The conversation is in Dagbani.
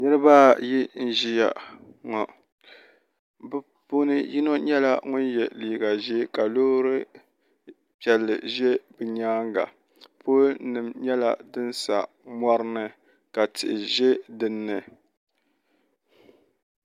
niriba ayi n-ʒiya ŋɔ bɛ puuni yino nyɛla ŋun ye liiga ʒee ka loori piɛlli ʒe bɛ nyaaga polinima nyɛla din sa mɔrini ka tihi ʒe din ni.